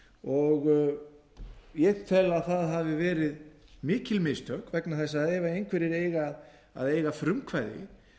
og ég tel að það hafi verið mikil mistök vegna þess að ef einhverjir eiga að eiga frumkvæði